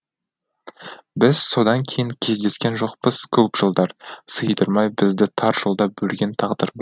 біз содан кейін кездескен жоқпыз көп жылдар сыйдырмай бізді тар жолда бөлген тағдыр бар